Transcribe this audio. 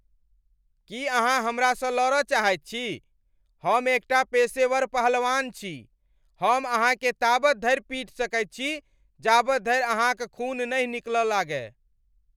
की अहाँ हमरासँ लड़ चाहैत छी? हम एकटा पेशेवर पहलवान छी! हम अहाँकेँ ताबत धरि पीट सकैत छी जाबत धरि अहाँक खून नहि निकल लागय ।